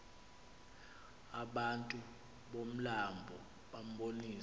abantu bomlambo bambonisa